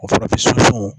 O fana bɛ sunsun